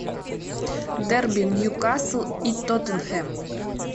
дерби ньюкасл и тоттенхэм